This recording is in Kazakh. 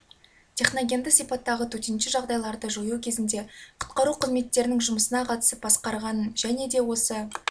техногенді сипаттағы төтенше жағдайларды жою кезінде құтқару қызметтерінің жұмысына қатысып басқарғанын және де осы